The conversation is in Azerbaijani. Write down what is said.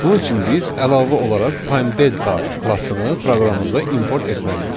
Bunun üçün biz əlavə olaraq Time Delta klassını proqramımıza import etməliyik.